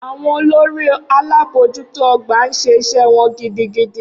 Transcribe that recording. Awọn olori0akekeo alabojuto ogba n se ise won gidigidi.